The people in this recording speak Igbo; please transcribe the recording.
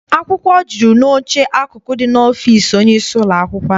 Akwụkwọ jụrụ n'oche akụkụ dị n'ọfịịsi onye isi ụlọakwụkwọ anyị.